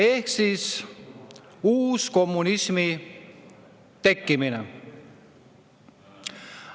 Ehk siis uuskommunismi tekkimine.